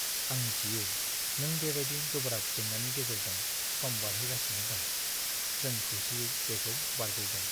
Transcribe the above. आं मिथियो नों बेबायदि गोब्राब जेंनानि गेजेरजों सम बारहोगासिनो दं। जों खौसेयै बेखौ बारग'गोन!